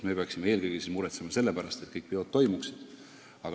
Meie peaksime eelkõige muretsema selle pärast, et kõik peod toimuksid.